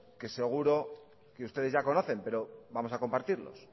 que seguro que ustedes ya conocen pero vamos a compartirlos